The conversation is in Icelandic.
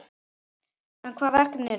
En hvaða verkefni eru það?